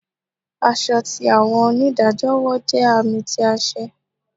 Aṣọ ti awọn onidajọ wọ jẹ aami ti aṣẹ